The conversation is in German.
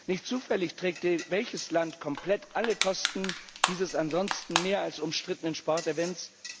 Nicht zufällig trägt welches Land komplett alle Kosten dieses ansonsten mehr als umstrittenen Sportevents?